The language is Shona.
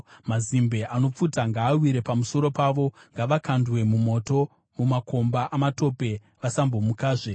Mazimbe anopfuta ngaawire pamusoro pavo; ngavakandwe mumoto, mumakomba amatope, vasambomukazve.